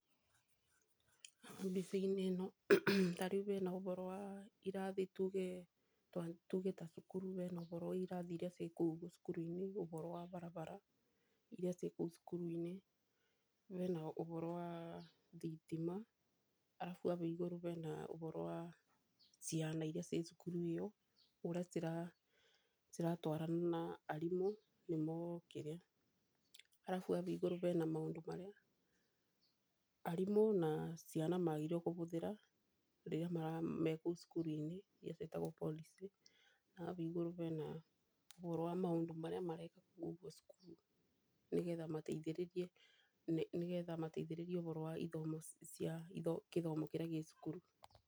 Bũthiti-inĩ ĩno tarĩu bena ũboro wa iratrahi tuge ta cukuru bena ũboro wa irathi iria ciĩ kũu cukuru-inĩ ũboro wa barabara iria ciĩ kũu cukuru-inĩ, Bena ũboro wa thitima arabu bau igũrũ bena ũboro wa ciana iria ciĩ cukuru ĩyo. Ũrĩa ciratwarana na arimũ nĩmo kĩrĩa, arabu bau igũrũ bena maũndũ marĩa arimũ na ciana magĩrĩirwo kũbũthĩra rĩrĩa mekũu cukuru-inĩ iria ciatagwo policy. Arabu bau igũrũ bena ũboro wa maũndũ marĩa marekwo kũu ũguo cukuru nĩ getha mateithĩrĩrie, nĩ getha mateithĩrĩrie ũboro wa ithomo cia kĩthomo kĩrĩa kĩ cukuru.